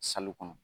kɔnɔ